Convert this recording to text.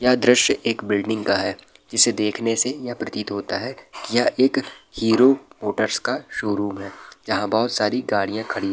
यह दृश्य एक बिल्डिंग का है जिससे देखने से यह प्रतीत होता है की यह एक हीरो मोटर्स का शोरूम है जहाँ बहोत सारी गाड़ियां खड़ी --